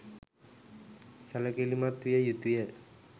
සැළකිළිමත් විය යුතු ය.